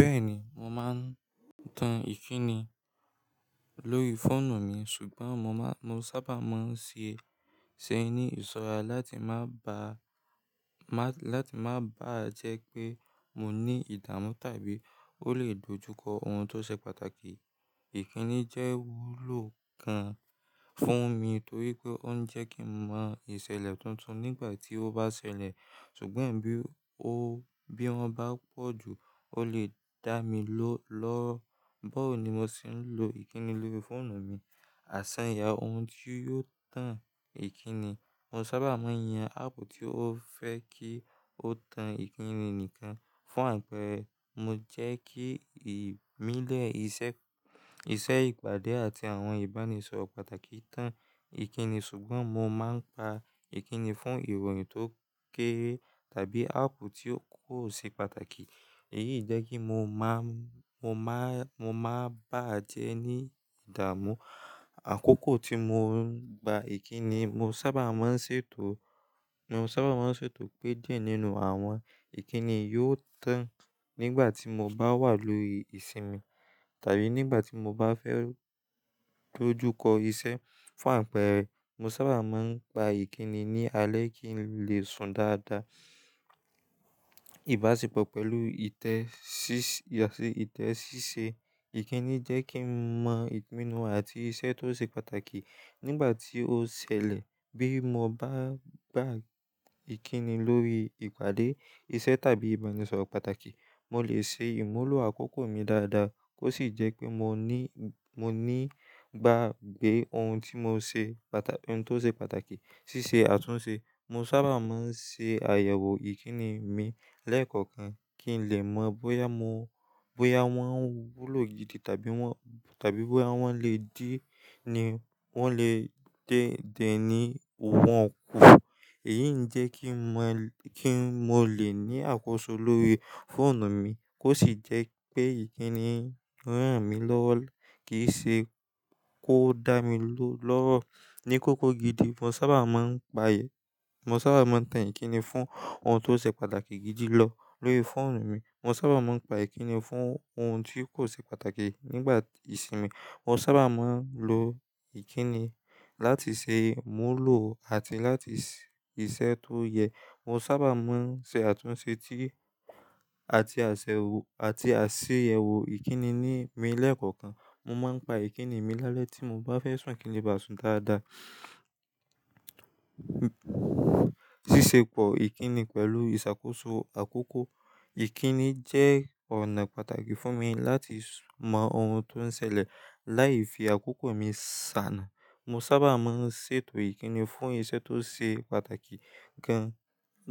Bẹ́ẹ̀ni, mo máa ń tan ìkíni lórí fóònù mi ṣùgbọ́n mo ma n, mo sábà máa ń ṣe é ní ìsọ́ra láti má bà, láti má bàá jẹ́ pé mo ní ìdààmú tàbí ó lè dojúkọ ohun tó ṣe pàtàkì. Ìkíni jẹ́ wúlò kan fún mi torí pé ó ń jẹ́ kí n mọ ìṣẹ̀lẹ̀ tuntun nígbà tí ó bá ṣẹlẹ̀ ṣùgbọ́n bí o bí wọ́n bá pọ̀ jù ó lè dá mi lórọ̀. Bọ̀ ó ni mo sì ń lo ìkíni lórí fóònù mi. Àṣanya ohun tí yóò tan ìkíni, mo sábà máa ń yan áàpù tí ó fẹ́ kí ó tan ìkíni nìkan. Fún àpẹẹrẹ, mo jẹ́ kí ìmílẹ̀, ìṣẹ́ ìpàdé àti àwọn ìbánisọ̀rọ̀ pàtàkì tan ìkíni ṣùgbọ́n mo máa ń pa ìkíni fún ìròyìn tó kéré tàbí áàpù tí kò ṣe pàtàkì. Èyí jẹ́ kí mo máa bàá jẹ́ ní ìdààmú. Àkókò tí mo ń gba ìkíni, mo sábà máa ń ṣètò- mo sábà máa ń ṣètò pé díẹ̀ nínú àwọn ìkíni yóò tán nígbà tí mo bá wà lórí ìsinmi tàbí nígbà tí mo bá fẹ́ dojúkọ iṣẹ́. Fún àpẹẹrẹ, mo sábà máa ń gba ìkíni ní alẹ́ kí n lè sun dáadáa. Ìbáṣepọ̀ pẹ̀lú ìtẹ́ ṣíṣe ìkíni jẹ́ kí n mọ ìpinnu àti iṣẹ́ tó ṣe pàtàkì nígbà tí ó ṣẹlẹ̀. Bí mo bá gba ìkíni lórí ìpàdé, iṣẹ́ tàbí ìbánisọ̀rọ̀ pàtàkì, mo lè ṣe ìmúlò àkókò mi dáadáa kó sì jẹ́ pé moni- gbàgbé oun tí mo ṣe. Un tó ṣe pàtàkì. Ṣíṣe àtúnṣe, mo sábà máa ń ṣe àyẹ̀wò ìkíni mi lẹ́ẹ̀kọ̀kan kí n lè mọ bóyá wọ́n ń wúlò gidi tàbí wọn, tàbí bóyá wọ́n lè di ni wọn le dé dẹ́ ní wọn kù. Èyí ń jẹ́ kí mo lè ní àkóso lórí fóònù mi kó sì jẹ́ pé ìkíni rán mi lọ́wọ́ kì í ṣe kó dá mi lórọ̀ ní kókó gidi, mo sa ba máa ń mo sábà máa ń tan ìkíni fún ohun tó ṣe pàtàkì gidi lọ lórí fóònù mi. Mo sábà máa ń pa ìkíni fún ohun tí kò ṣe pàtàkì nígbà ìsinmi. Mo sábà máa ń lo ìkíni láti ṣe ìmúlò àti láti iṣẹ́ tó yẹ. Mo sábà máa ń ṣe àtúnṣe àti àṣeyẹwò ìkíni ni mi lẹ́ẹ̀kọ̀kan. Mo máa ń pa ìkíni mi lálẹ́ tí mo bá fẹ́ sùn kí n lè bàa sùn dáadáa. Ṣíṣepọ̀ ìkíni pẹ̀lú ìṣàkóso àkókò, ìkíni jẹ́ ọ̀nà pàtàkì fún mi láti mọ ohun tó ń ṣẹlẹ̀ láì fi àkókò mi sànà. Mo sábà máa ń ṣètò ìkíni fún iṣẹ́ tó ṣe pàtàkì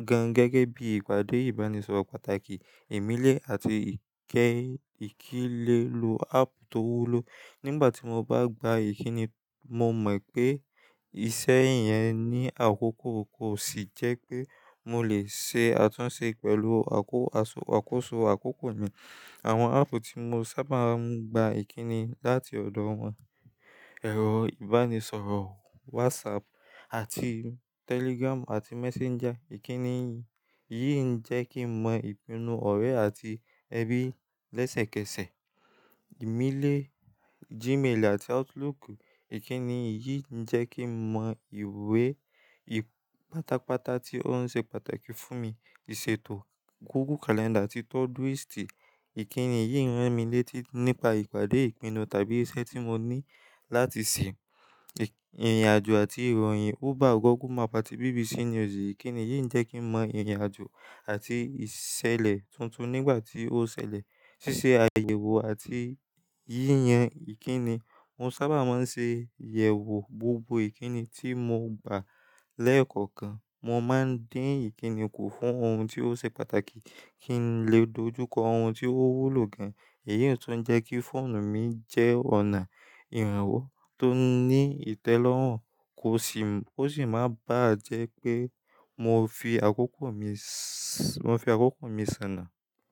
gan gẹ́gẹ́ bí ìpàdé, ìbánisọ̀rọ̀ pàtàkì, ìmílẹ̀ àti ìkílelò aápù tó wúlò. Nígbà tí mo bá gba ìkíni, mo mọ̀ pé iṣẹ́ yẹn ní àkókò kó sì jẹ́ pé mo lè ṣe àtúnṣe pẹ̀lú àkóso àkókò mi. Àwọn áàpù tí mo sábà ń gba ìkíni láti ọ̀dọ̀ wọn, ẹ̀rọ ìbánisọ̀rọ̀ WhatsApp àti Telegram àti Messenger. Ìkíni yìí ń jẹ́ kí n mọ ìpinnu ọ̀rẹ́ àti ẹbí lẹ́sẹ̀kẹsẹ̀. Ìmílẹ̀ Gmail àti Outlook, ìkíni yìí ń jẹ́ kí n mọ ìwé pátápátá tí ó ń ṣe pàtàkì fún mi. Ìṣètò Google Calendar àti Todoist, ìkíni yìí ń rán mi létí nípa ìpàdé, ìpinnu tàbí iṣẹ́ tí mo ní láti ṣe. Ìrìnàjò àti ìròyìn Uber, Google Map àti BBC News, ìkíni yìí ń jẹ́ kí n mọ ìrìnàjò àti ìṣẹ̀lẹ̀ tuntun nígbà tí ó ṣẹlẹ̀. Ṣíṣe àyẹ̀wò àti yíyan ìkíni, mo sábà máa ń ṣe àyẹ̀wò gbogbo ìkíni tí mo gbà lẹ́ẹ̀kọ̀kan. Mo máa ń dín ìkíni kù fún ohun tí ó ṣe pàtàkì kí n lè dojúkọ ohun tí ó wúlò gan. Èyí tuń jẹ́ kí fóònù mi jẹ́ ọ̀nà ìrànwọ́ tó ní ìtẹ́lọ́rùn kó sì máa bàá jẹ́ pé mo fi àkókò mi sànà.